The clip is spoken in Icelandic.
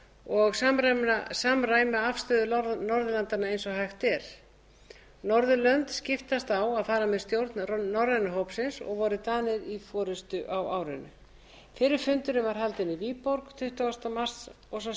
og samræma afstöðu norðurlanda eins og hægt er norðurlönd skiptast á að fara með stjórn norræna hópsins og voru danir í forustu á árinu fyrri fundurinn var haldinn í viborg tuttugasta mars og sá